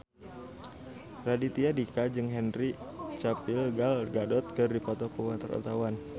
Raditya Dika jeung Henry Cavill Gal Gadot keur dipoto ku wartawan